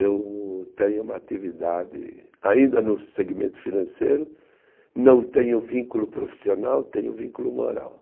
Eu tenho uma atividade, ainda no segmento financeiro, não tenho vínculo profissional, tenho vínculo moral.